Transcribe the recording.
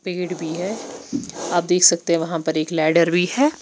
पेड़ भी है आप देख सकते है वहाँ पर एक लैडर भी है।